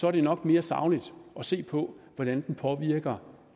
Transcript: er det nok mere sagligt at se på hvordan den påvirker